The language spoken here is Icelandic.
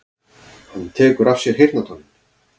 Hann tekur af sér heyrnartólin.